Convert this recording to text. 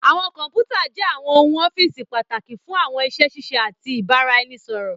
Àwọn kọnputa jé àwọn ohùn ọ́fíìsì pàtàkì fún àwọn iṣé ṣiṣẹ àti ibaraẹnisọrọ.